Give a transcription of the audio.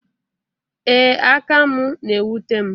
Ee, aka m na-ewute m